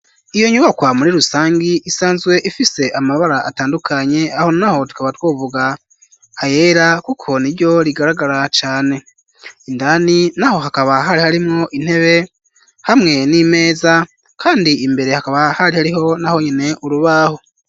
Iyo nyubakwa muri rusangi isanzwe ifise amabara atandukanye, aho n'aho tukaba twovuga ayera kuko niryo rigaragara cane, indani naho hakaba hari harimwo intebe hamwe n'imeza, kandi imbere hakaba hari hariho nahonyene urubaho.